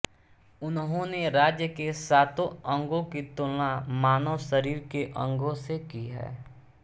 उन्होंने राज्य के सातों अंगों की तुलना मानव शरीर के अंगो से की है